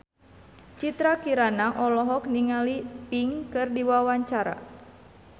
Citra Kirana olohok ningali Pink keur diwawancara